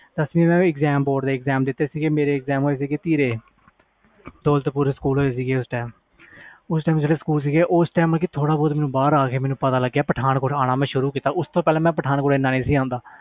ਦਸਵੀ ਤੇ ਬੋਰਡ ਦੇ ਪੇਪਰ ਦਿਤੇ ਧੀਰੇ ਮੈਂ ਫਰ ਥੋੜ੍ਹਾ ਬਹਾਰ ਆ ਕੇ ਪਤਾ ਲਗਾ ਤੇ ਫਿਰ ਪਠਾਨਕੋਟ ਆਣਾ ਸ਼ੁਰੂ ਕੀਤਾ